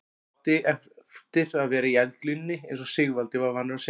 Hann átti eftir að vera í eldlínunni eins og Sigvaldi var vanur að segja.